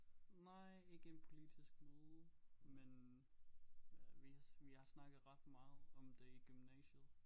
Nej ikke en politisk møde men vi vi har snakket ret meget om det i gymnasiet